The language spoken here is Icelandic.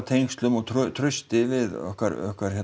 tengslum og trausti við okkar